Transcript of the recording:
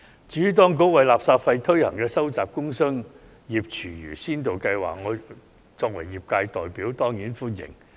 至於當局為垃圾徵費推行的收集工商業廚餘先導計劃，我作為業界代表當然歡迎。